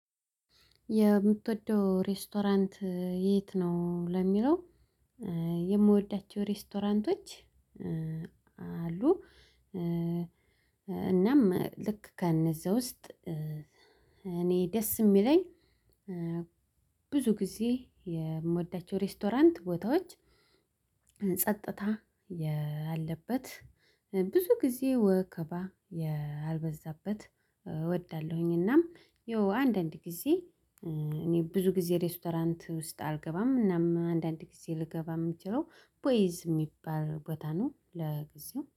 የምትወደው ሬስቶራንት የት ነው? ለሚለው የምወዳቸው ሬስቶራንቶች አሉ። እናም ልክ ከነዛ ውስጥ እኔ ደስ የሚለኝ። ብዙ ጊዜ የምወዳቸው ሬስቶራንት ቦታዎች ጸጥታ ያለበት ብዙ ጊዜ ወከባ ያልበዛበት እወዳለሁኝ። እናም የው አንዳንድ ጊዜ እኔ ብዙ ጊዜ ሬስቶራንት ውስጥ አልገባም። እናም አንዳንድ ጊዜ ልገባ የምችለው ቦይዝ የሚባል ቦታ ነው ለጊዜው